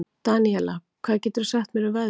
Daníela, hvað geturðu sagt mér um veðrið?